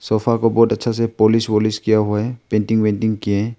Sofa को बहुत अच्छे से पालिश वालिश किया हुआ है पेंटिंग वेंटिंग किए है।